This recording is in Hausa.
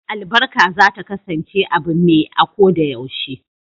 Albarka za ta kasance abu me a ko da yaushe.